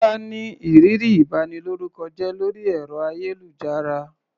Kọ́lá ní ìrírí ìbanilórúkọjẹ́ lórí ẹ̀rọ-ayélujára.